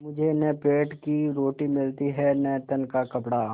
मुझे न पेट की रोटी मिलती है न तन का कपड़ा